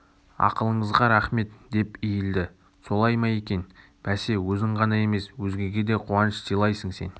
ақылыңызға рақмет деп иілді солай ма екен бәсе өзің ғана емес өзгеге де қуаныш сыйлайсың сен